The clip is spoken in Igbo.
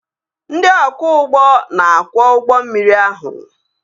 Ndị ọkwọ ụgbọ na-akwọ ụgbọ mmiri ahụ